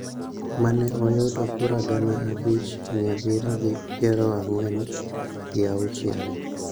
ma ne oyudo kura gana abich, mia abiriyo gi piero ang'wen gi auchiel.